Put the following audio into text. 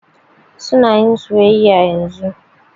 Su na yin soyayya yanzun.